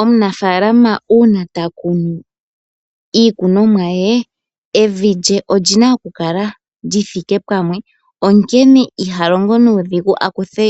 Omunafaalama uuna ta kunu iikunwa ye, evi lye olyina oku kala lyi thika pamwe, onkene iha longo nuudhigu akuthe